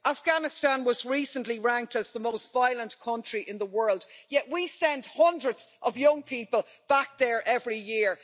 Afghanistan was recently ranked as the most violent country in the world, yet we send hundreds of young people back there every year.